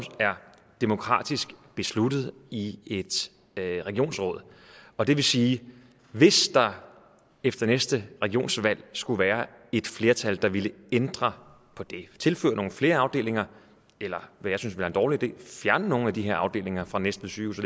er demokratisk besluttet i et regionsråd og det vil sige at hvis der efter næste regionsvalg skulle være et flertal der vil ændre på det tilføre nogle flere afdelinger eller hvad jeg synes ville være en dårlig idé fjerne nogle af de her afdelinger fra næstved sygehus